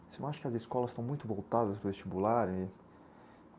Você não acha que as escolas estão muito voltadas para o vestibular?